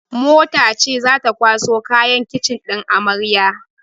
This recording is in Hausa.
Mota ce zata kwaso kayan kicin ɗin amaryar